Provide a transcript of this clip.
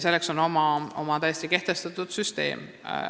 Selleks on kehtestatud oma süsteem.